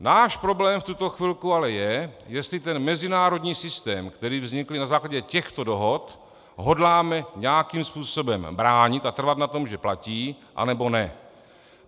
Náš problém v tuto chvilku ale je, jestli ten mezinárodní systém, který vznikl na základě těchto dohod, hodláme nějakým způsobem bránit a trvat na tom, že platí, anebo ne.